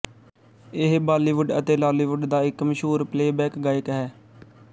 ਇਹ ਬਾਲੀਵੁੱਡ ਅਤੇ ਲਾਲੀਵੁੱਡ ਦਾ ਇੱਕ ਮਸ਼ਹੂਰ ਪਲੇਬੈਕ ਗਾਇਕ ਹੈ